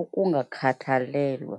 ukungakhathalelwa.